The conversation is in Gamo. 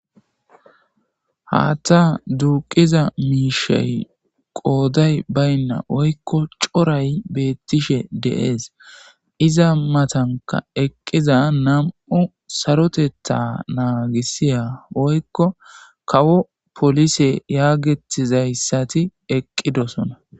Haththa duqida mishayi qodayi bayina woyikko coray beettishe dees.izabittanika eqqida nam'u saroteta naggisiya woykko kawo police yagetida izati eqqidosona